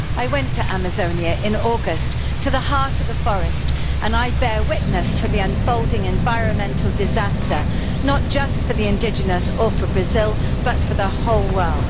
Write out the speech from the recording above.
I went to Amazonia in August into the heart of the forest and I bore witness to the unfolding environmental disaster, not just for the indigenous people or for Brazil, but for the whole world.